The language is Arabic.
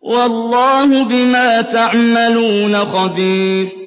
وَاللَّهُ بِمَا تَعْمَلُونَ خَبِيرٌ